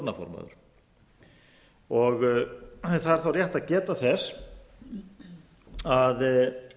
starfandi stjórnarformaður það er þá rétt að geta þess að